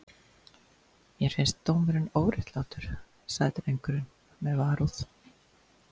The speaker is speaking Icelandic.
Mér finnst dómurinn óréttlátur, sagði drengurinn með varúð.